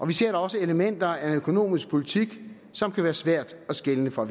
vi ser da også elementer af en økonomisk politik som kan være svær at skelne fra